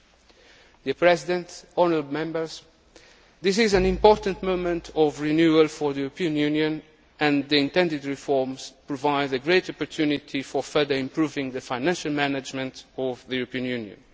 Mr President, honourable Members, this is an important moment of renewal for the European Union, and the intended reforms provide a great opportunity for further improving the financial management of the European